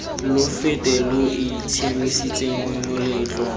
lo fete lo itshiamisetseng moletlo